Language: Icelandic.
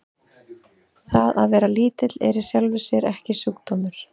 Það að vera lítill er í sjálfu sér ekki sjúkdómur.